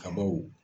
Kabaw